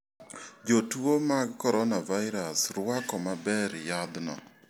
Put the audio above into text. Jotuo mag coronavirus rwako maber yadhno.